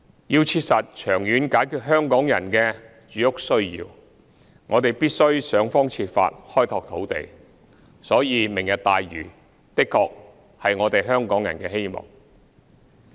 要切實長遠解決香港人的住屋需要，我們必須想方設法開拓土地，所以"明日大嶼"的確是我們香港人的希望。